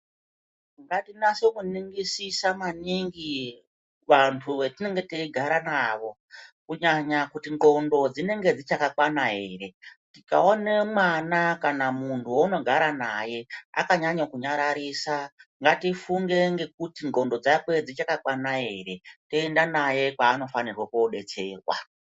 Ngatinaso kuningisisa maningi vantu vatinonga teigara navo kunyanya kuti ndxondo dzinenge dzichakakwana ere tikaone mwana kana munhu wounogara naye akanyanyo kunyararisa ngatifunge ngekuti ndxondo dzake dzichakakwana ere toenda naye kwaanofanirwa kudetserwa.